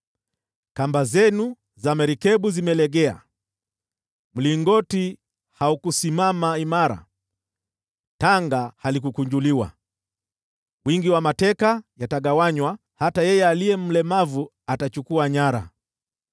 Kamba zenu za merikebu zimelegea: Mlingoti haukusimama imara, nalo tanga halikukunjuliwa. Wingi wa mateka yatagawanywa, hata yeye aliye mlemavu atachukua nyara.